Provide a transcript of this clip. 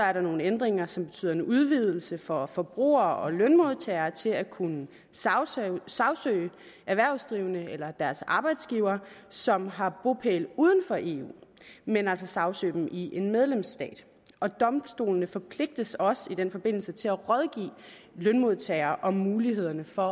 er der nogle ændringer som betyder en udvidelse for forbrugere og lønmodtagere til at kunne sagsøge sagsøge erhvervsdrivende eller deres arbejdsgivere som har bopæl uden for eu men altså sagsøge dem i en medlemsstat og domstolene forpligtes også i den forbindelse til at rådgive lønmodtagere om mulighederne for